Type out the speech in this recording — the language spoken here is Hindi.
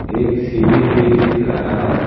एक सीढ़ी भी दिख रहा है।